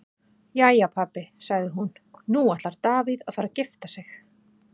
Jæja pabbi, sagði hún, nú ætlar Davíð að fara að gifta sig.